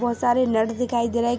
बहुत सारे नट दिखाई दे रहा है।